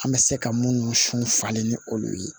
An bɛ se ka minnu sun falen ni olu ye